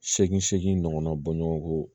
Seegin ɲɔgɔnna bɔɲɔgo